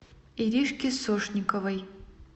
иришке сошниковой